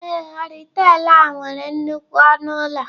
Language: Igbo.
Ee.horitel a nwere nnukwu ọnụ ụlọ.